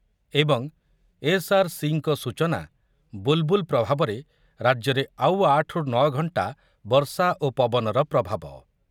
ଏଆରସିଙ୍କ ସୂଚନା, ବୁଲ୍ ବୁଲ୍ ପ୍ରଭାବରେ ରାଜ୍ୟରେ ଆଉ ଆଠ ରୁ ନ ଘଣ୍ଟା ବର୍ଷା ଓ ପବନର ପ୍ରଭାବ